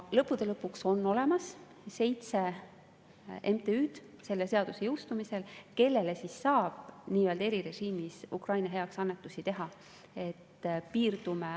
Lõppude lõpuks on selle seaduse jõustumisel olemas seitse MTÜ-d, kellele saab erirežiimi kohaselt Ukraina heaks annetusi teha.